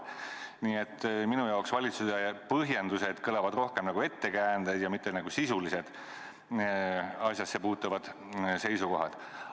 Nii et minu kõrvus kõlavad valitsuse põhjendused rohkem nagu ettekäändeid, mitte sisulised asjasse puutuvad seisukohad.